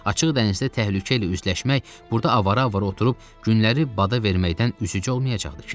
Açıq dənizdə təhlükə ilə üzləşmək, burda avara-avara oturub günləri bada verməkdən üstücə olmayacaqdı ki.